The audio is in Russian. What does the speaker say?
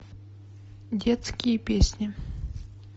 детские песни